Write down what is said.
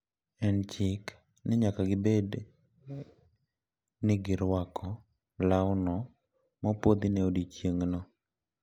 En e chik ni nyaka gibed ni girwako lawno mopuodhi ne odiechieng`no.